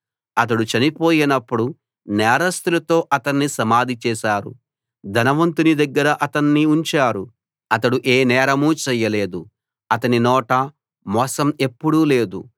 అతడు చనిపోయినప్పుడు నేరస్థులతో అతన్ని సమాధి చేశారు ధనవంతుని దగ్గర అతన్ని ఉంచారు అతడు ఏ నేరమూ చేయలేదు అతని నోట మోసం ఎప్పుడూ లేదు